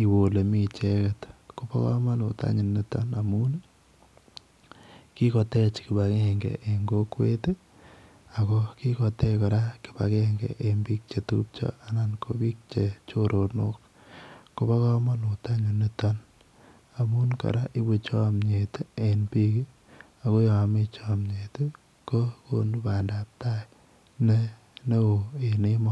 iwe olemi icheket akobo kamanut mising niton kikotech kibagenge en kokwet akokiketechat kibagenge en bik chetubcho anan ko bik chechoronok konmba kamanut en nitonamun koraa koibu chamnyet en bik aknolami chanyebkokonu bandaitai en emoni